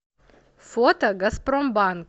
фото газпромбанк